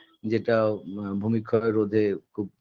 যেটাও আ ভূমিক্ষয় রোধে খুব